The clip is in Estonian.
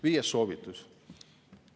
Viies soovitus.